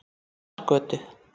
Marargötu